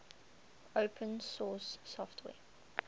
open source software